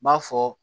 N b'a fɔ